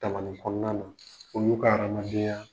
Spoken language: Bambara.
Tamani kɔɔna na olu ka hadamadenya